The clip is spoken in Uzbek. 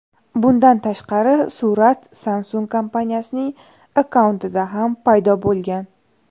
Bundan tashqari, surat Samsung kompaniyasining akkauntida ham paydo bo‘lgan .